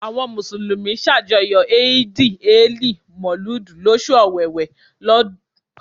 Àwọn mùsùlùmí ṣàjọyọ̀ ẹ̀yìdì-ẹẹli-Mọ̀lúùdì lóṣù Ọ̀wẹwẹ̀, ọdún okòólélẹgbàá lé mẹ́ta